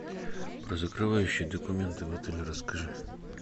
про закрывающие документы в отеле расскажи